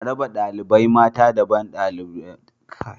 A raba ɗalibai mata daban da ɗalibai maza